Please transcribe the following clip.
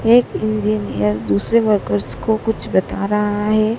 एक इंजीनियर दूसरे वर्कर्स को कुछ बता रहा है।